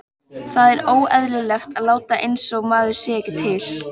Það er óeðlilegt að láta einsog maður sé ekki til.